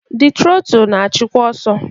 The trotul na-achịkwa ọsọ.